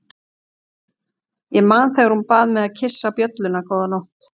Ég man þegar hún bað mig að kyssa bjölluna góða nótt.